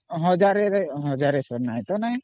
One Thousandକେ One Thousandହବ ତା ନାହିଁ